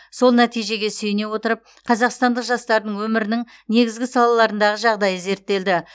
сол нәтижеге сүйене отырып қазақстандық жастардың өмірінің негізгі салаларындағы жағдайы зерттелді